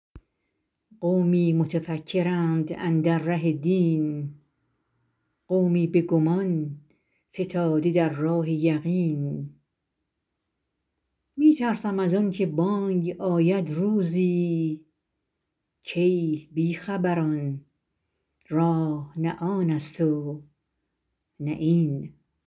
قومی متفکرند اندر ره دین قومی به گمان فتاده در راه یقین می ترسم از آن که بانگ آید روزی کای بی خبران راه نه آن است و نه این